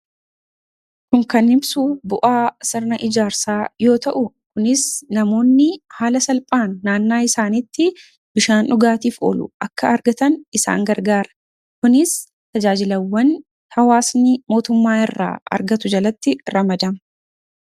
kun kan himsu bu'aa sirna ijaarsaa yoo ta'u kunis namoonni haala salphaan naannaa isaaniitti bishaan dhugaatiif olu akka argatan isaan gargaara kunis tajaajilawwan hawaasnii mootummaa irraa argatu jalatti ramadama